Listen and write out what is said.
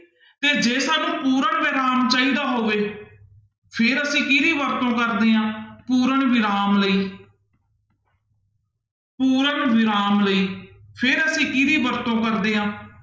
ਤੇ ਜੇ ਸਾਨੂੰ ਪੂਰਨ ਵਿਰਾਮ ਚਾਹੀਦਾ ਹੋਵੇ, ਫਿਰ ਅਸੀਂ ਕਿਹਦੀ ਵਰਤੋਂ ਕਰਦੇ ਹਾਂ, ਪੂਰਨ ਵਿਰਾਮ ਲਈ ਪੂਰਨ ਵਿਰਾਮ ਲਈ, ਫਿਰ ਅਸੀਂ ਕਿਹਦੀ ਵਰਤੋਂ ਕਰਦੇ ਹਾਂ?